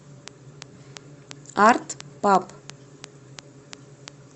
арт паб